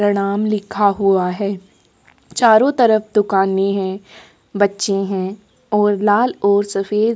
नाम लिखा हुआ है चारो तरफ दुकाने है बच्चे है और लाल और सफ़ेद --